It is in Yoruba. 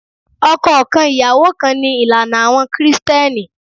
Ọkọ kan, ìyàwó kan, ni ìlànà àwọn Kristẹni.